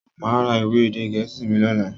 Máa ra ìwé èdè gẹ̀ẹ́sì mi lọ́la.